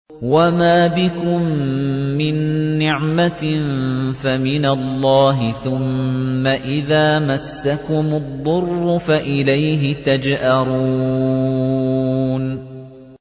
وَمَا بِكُم مِّن نِّعْمَةٍ فَمِنَ اللَّهِ ۖ ثُمَّ إِذَا مَسَّكُمُ الضُّرُّ فَإِلَيْهِ تَجْأَرُونَ